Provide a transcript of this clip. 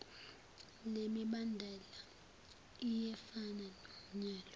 lemibandela iyefana nomyalo